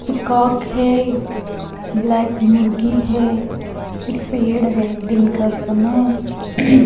peacock है black मुर्गी है एक पेड़ है दिन का समय --